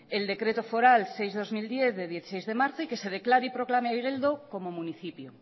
el decreto foral seis barra dos mil diez del dieciséis de marzo y que se declare y proclame igeldo como municipio